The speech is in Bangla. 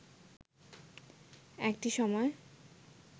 একটি সময়